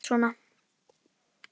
Að hamast svona.